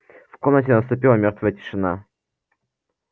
в комнате наступила мёртвая тишина